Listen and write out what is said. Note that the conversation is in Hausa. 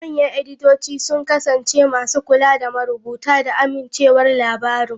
Manyan editoci sun kasance masu kula da marubuta da amincewar labarin.